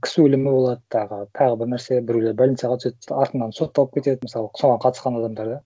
кісі өлімі болады тағы тағы бір нәрсе біреулер больницаға түседі артынан сотталып кетеді мысалы соған қатысқан адамдар да